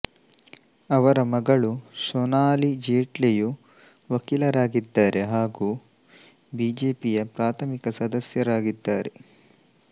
ಅವರ ಮಗಳು ಸೊನಾಲಿ ಜೇಟ್ಲಿಯು ವಕೀಲರಾಗಿದ್ದಾರೆ ಹಾಗೂ ಬಿಜೆಪಿಯ ಪ್ರಾಥಮಿಕ ಸದಸ್ಯರಾಗಿದ್ದಾರೆ